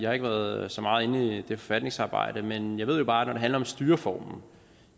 har ikke været så meget inde i det forfatningsarbejde men jeg ved jo bare det handler om styreformen